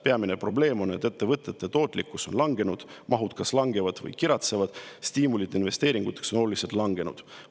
Peamine probleem on, et ettevõtete tootlikkus on langenud, mahud kas langevad või kiratsevad, stiimulid investeeringuteks on oluliselt langenud.